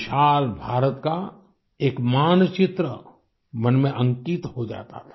विशाल भारत का एक मानचित्र मन में अंकित हो जाता था